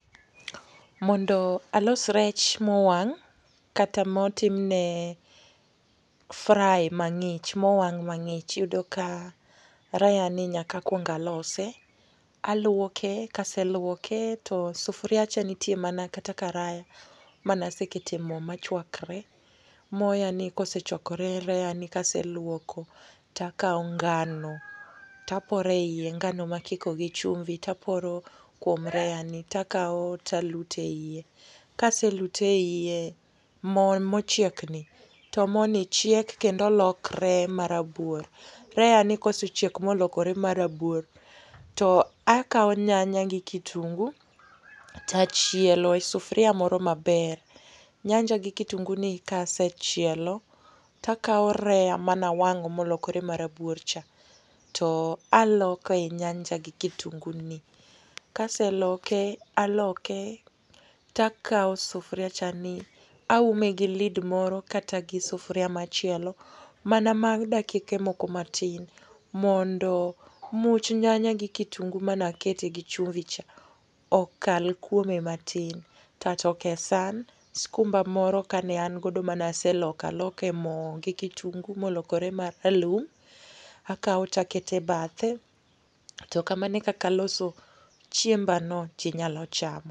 Mondo alos rech mowang' kata motimne fry mang'ich, mowang mang'ich, iyudo ka reyani nyaka akuong alose. Aluoke, kaseluoke to sufuriacha nitie mana kata karaya, maneasekete mo machwakre. Moyani kosechwakore reyani kaseluoko ta kawo ngano tapore iye. Ngano ma akikogi chumbi taporo kwom reyani. Takawo talute iye. Kaselute iye, mo mochiekni, to mo ni chiek kendo lokre marabuor. Reyani kosechiek molokore marabuor, to akawo nyanya gi kitungu ta chielo e sufuria moro maber. Nyanja gi kitunguni kasechielo takao reya mana wang molokore marabuorcha, to aloke nyanja gi kitunguni. Kaseloke, aloke, takao sufuriachani aume gi lid moro kata gisufuria machielo, mana mar dakike moko matin. Mondo much nyanya gi kitungu manakete gi chumbi cha okal kuome matin. Tatoke san. Skumba moro kane an godo manaseloko aloke mo gi kitungu, molokore maralum, akawo takete bathe. To kamano e kaka aloso chiembano, jinyalo chamo.